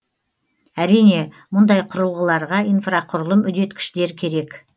әрине мұндай құрылғыларға инфрақұрылым үдеткіштер керек